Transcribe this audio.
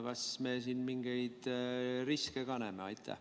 Kas me siin mingeid riske ka näeme?